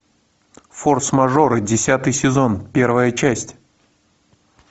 форс мажоры десятый сезон первая часть